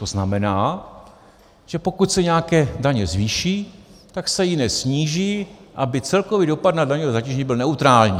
To znamená, že pokud se nějaké daně zvýší, tak se jiné sníží, aby celkový dopad na daňové zatížení byl neutrální.